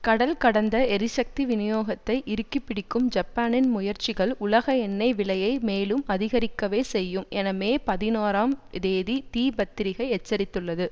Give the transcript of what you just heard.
கடல் கடந்த எரிசக்தி விநியோகத்தை இறுக்கிப்பிடிக்கும் ஜப்பானின் முயற்சிகள் உலக எண்ணெய் விலையை மேலும் அதிகரிக்கவே செய்யும் என மே பதினாறாம் தேதி தி பத்திரிகை எச்சரித்துள்ளது